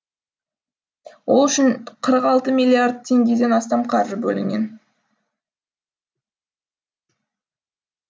ол үшін қырық алты миллиард теңгеден астам қаржы бөлінген